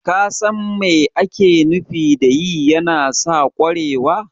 ka san mai ake nufi da yi yana sa ƙwarewa?